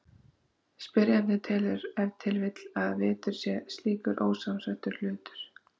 Spyrjandinn telur ef til vill að litur sé slíkur ósamsettur hlutur.